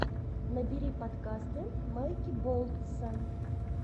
набери подкасты майки болтса